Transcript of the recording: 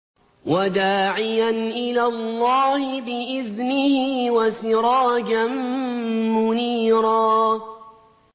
وَدَاعِيًا إِلَى اللَّهِ بِإِذْنِهِ وَسِرَاجًا مُّنِيرًا